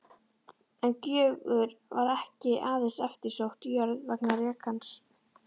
En Gjögur var ekki aðeins eftirsótt jörð vegna rekans.